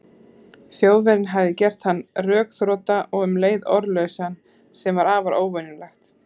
Þjóðverjinn hafði gert hann rökþrota og um leið orðlausan, sem var afar óvenjulegt.